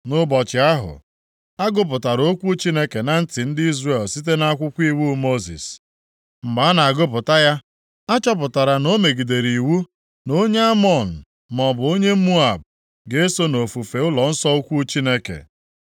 Nʼụbọchị ahụ, a gụpụtara okwu Chineke na ntị ndị Izrel site nʼakwụkwọ iwu Mosis. Mgbe a na-agụpụta ya, a chọpụtara na o megidere iwu na onye Amọn, maọbụ onye Moab, ga-eso nʼofufe ụlọnsọ ukwu Chineke.